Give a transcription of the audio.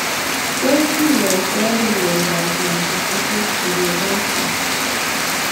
Tos kinyaitoi ano miondop multifocal choroiditis?